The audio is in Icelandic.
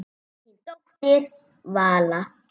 Þín dóttir, Vala.